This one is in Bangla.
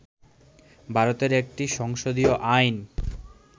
ভারতের একটি সংসদীয় আইন